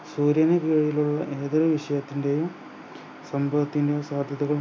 സൗര ലുള്ള അനവധി വിശയത്തിൻ്റെയും സംഭവത്തിന്റെ സാധ്യതകൾ